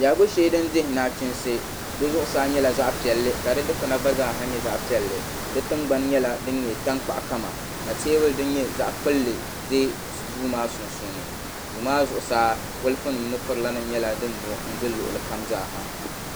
Biɛhigu din dihi naɣachiinsi di zuɣusaa nyɛla zaɣa piɛlli ka di dikpuna gba ha nyɛ zaɣa piɛlli di tingbani nyɛla di nyɛ tankpaɣu kama ka teebuli din nyɛ zaɣa kpulli ʒɛ duu maa sunsuuni duu maa zuɣusaa bɔlifu nima ni furila nima nyɛla din nyɔ n gili luɣuli kam.